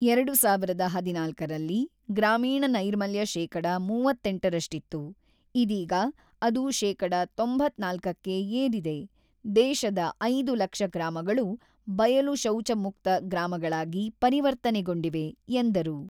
"ಎರಡು ಸಾವಿರದ ಹದಿನಾಲ್ಕರಲ್ಲಿ ಗ್ರಾಮೀಣ ನೈರ್ಮಲ್ಯ ಶೇಕಡ ಮೂವತ್ತೆಂಟರಷ್ಟಿತ್ತು ; ಇದೀಗ ಅದು ಶೇಕಡ ತೊಂಬತ್ತ್ನಾಲ್ಕಕ್ಕೆ ಏರಿದೆ: ದೇಶದ ಐದು ಲಕ್ಷ ಗ್ರಾಮಗಳು ಬಯಲು ಶೌಚಮುಕ್ತ ಗ್ರಾಮಗಳಾಗಿ ಪರಿವರ್ತನೆಗೊಂಡಿವೆ" ಎಂದರು.